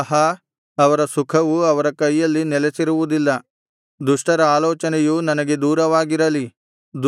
ಆಹಾ ಅವರ ಸುಖವು ಅವರ ಕೈಯಲ್ಲಿ ನೆಲಸಿರುವುದಿಲ್ಲ ದುಷ್ಟರ ಆಲೋಚನೆಯು ನನಗೆ ದೂರವಾಗಿರಲಿ